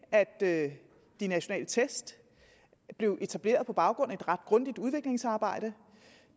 at de nationale test blev etableret på baggrund af et ret grundigt udviklingsarbejde